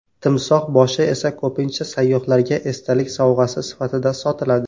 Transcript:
Timsoh boshi esa ko‘pincha sayyohlarga esdalik sovg‘asi sifatida sotiladi.